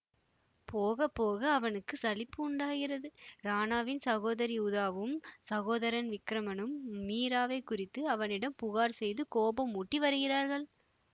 போக போக அவனுக்கு சலிப்பு உண்டாகிறது ராணாவின் சகோதரி உதாவும் சகோதரன் விக்ரமனும் மீராவைக் குறித்து அவனிடம் புகார் செய்து கோபமூட்டி வருகிறார்கள்